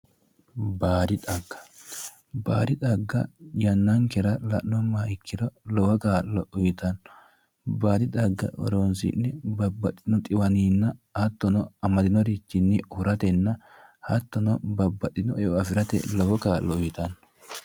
baadi xagga baadi xagga yannankera la'nummoha ikkiro lowo kaa'lo uyitanno baadi xagga horoonsi'ne babbaxinoha dhiwaninna hattono amadinorichinni huratenna babbaxino eo afirate lowo kaa'lo uyitanno